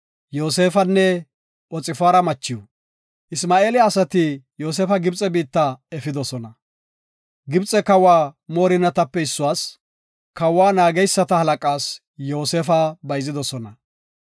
Isma7eela asati Yoosefa Gibxe biitta efidosona. Gibxe kawa moorinatape issuwas, kawa naageysata halaqaas Yoosefa bayzidosona.